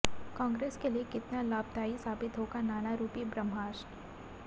कांग्रेस के लिए कितना लाभदायी साबित होगा नाना रूपी ब्रह्मास्त्र